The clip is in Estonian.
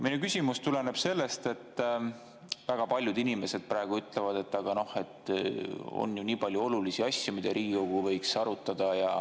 Minu küsimus tuleneb sellest, et väga paljud inimesed ütlevad, et on ju nii palju olulisi asju, mida Riigikogu võiks arutada.